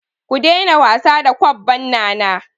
Ku daina wasa da kwabban Nana!